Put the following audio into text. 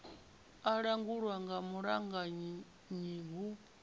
a langulwa nga mulamukanyi hu